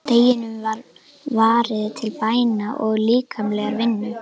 Deginum var varið til bæna og líkamlegrar vinnu.